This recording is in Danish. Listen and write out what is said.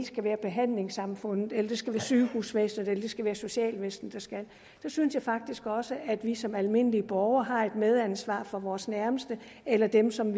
skal være behandlingssamfundet eller sygehusvæsenet eller socialvæsenet der skal træde der synes jeg faktisk også at vi som almindelige borgere har et medansvar for vores nærmeste eller dem som